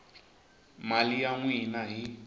mali ya n wina hi